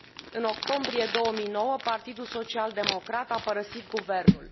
În octombrie 2009 Partidul Social Democrat a părăsit guvernul.